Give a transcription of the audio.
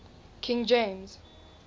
king james